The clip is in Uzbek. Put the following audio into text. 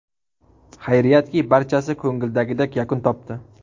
Xayriyatki, barchasi ko‘ngildagidek yakun topdi.